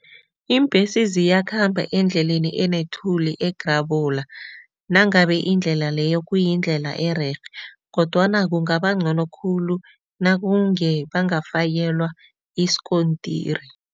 Iimbhesi ziyakhamba endleleni enethuli egrabula nangabe indlela leyo kuyindlela ererhe kodwana kungaba ngcono khulu nakunge bangafakelwa isikontiri.